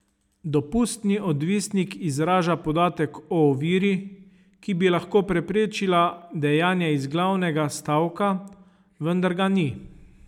Dopustni odvisnik izraža podatek o oviri, ki bi lahko preprečila dejanje iz glavnega stavka, vendar ga ni.